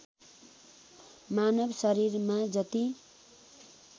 मानव शरीरमा जति